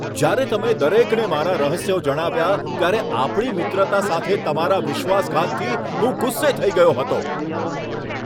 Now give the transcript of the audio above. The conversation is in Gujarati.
જ્યારે તમે દરેકને મારા રહસ્યો જણાવ્યા ત્યારે આપણી મિત્રતા સાથે તમારા વિશ્વાસઘાતથી હું ગુસ્સે થઈ ગયો હતો.